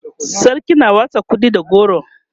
sarki na watsa kuɗi da goro